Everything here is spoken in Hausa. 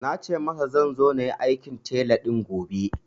Na ce masa zan zo na yi aikin tile din gobe